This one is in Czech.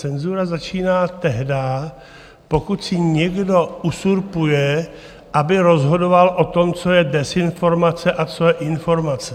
Cenzura začíná tehdy, pokud si někdo uzurpuje, aby rozhodoval o tom, co je dezinformace a co je informace.